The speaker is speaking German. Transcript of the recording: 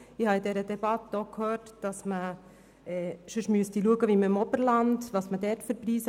Ich habe in der Debatte auch gehört, dass man sich nach den Preisen für das Wohnen im Oberland erkundigen müsste.